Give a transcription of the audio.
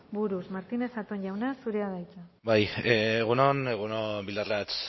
buruz martínez zatón jauna zurea da hitza bai egun on egun on bildarratz